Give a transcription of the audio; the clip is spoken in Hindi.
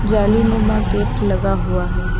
जालीनुमा गेट लगा हुआ है।